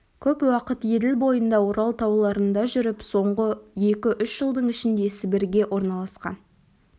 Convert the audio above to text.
көп уақыт еділ бойында орал тауларында жүріп соңғы екі-үш жылдың ішінде сібірге орналасқан